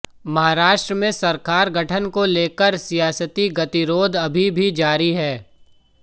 महाराष्ट्र में सरकार गठन को लेकर सियासती गतिरोध अभी भी जारी है